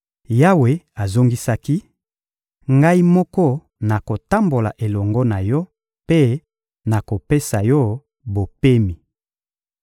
Yawe azongisaki: — Ngai moko nakotambola elongo na yo mpe nakopesa yo bopemi.